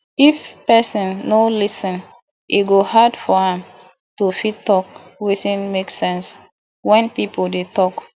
if person no lis ten e go hard for am to fit talk wetin make sense when pipo dey talk